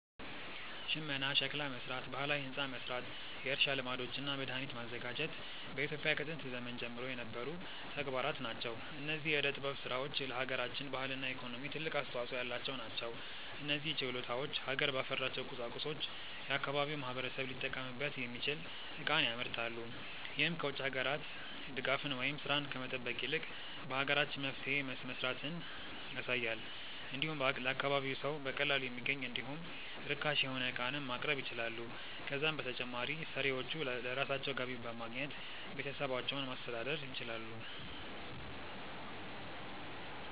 ሽመና፣ ሸክላ መስራት፣ ባህላዊ ህንፃ መስራት፣ የእርሻ ልማዶች እና መድሃኒት ማዘጋጀት በኢትዮጵያ ከጥንት ዘመን ጀምሮ የነበሩ ተግባራት ናቸው። እነዚህ የዕደ ጥበብ ስራዎች ለሃገራችን ባህልና ኢኮኖሚ ትልቅ አስተዋጾ ያላቸው ናቸው። እነዚህ ችሎታዎች ሀገር ባፈራቸው ቁሳቁሶች የአካባቢው ማህበረሰብ ሊጠቀምበት የሚችል ዕቃን ያመርታሉ። ይህም ከ ውጭ ሀገራት ድጋፍን ወይም ስራን ከመጠበቅ ይልቅ በሀገራችን መፍትሄ መስራትን ያሳያል። እንዲሁም ለአካባቢው ሰው በቀላሉ የሚገኝ እንዲሁም ርካሽ የሆነ ዕቃንም ማቅረብ ይችላሉ። ከዛም በተጨማሪ ሰሪዎቹ ለራሳቸው ገቢ በማግኘት ቤተሰባቸውን ማስተዳደር ይችላሉ።